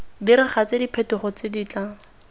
diragatse diphetogo tse di tla